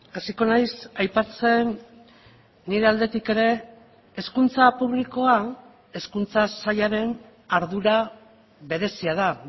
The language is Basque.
hasiko naiz aipatzen nire aldetik ere hezkuntza publikoa hezkuntza sailaren ardura berezia da